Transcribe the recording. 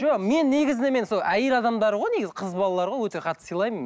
жоқ мен негізінен мен сол әйел адамдар ғой негізі қыз балалар ғой өте қатты сыйлаймын